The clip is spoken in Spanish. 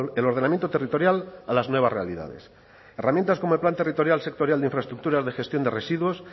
el ordenamiento territorial a las nuevas realidades herramientas como el plan territorial sectorial de infraestructuras de gestión de residuos